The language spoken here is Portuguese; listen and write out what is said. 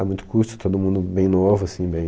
A muito custo, todo mundo bem novo, assim, bem...